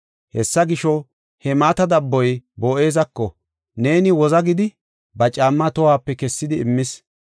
Hessa gisho, he mata dabboy Boo7ezako, “Neeni woza” gidi, ba caammaa tohuwape kessidi immis.